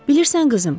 Bilirsən, qızım,